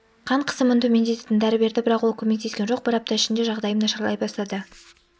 қан қысымын төмендететін дәрі берді бірақ ол көмектескен жоқ бір апта ішінде жағдайым нашарлай бастады